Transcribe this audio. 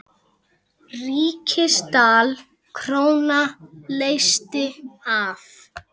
Ríksdal króna leysti af.